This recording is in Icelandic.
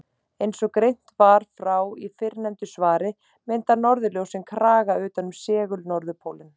Eins og greint var frá í fyrrnefndu svari mynda norðurljósin kraga utan um segul-norðurpólinn.